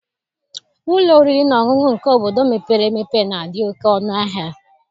Ụlọ oriri na ọṅụṅụ nke obodo mepere emepe na-adị oke ọnụahịa.